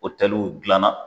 O otɛliw gilanna.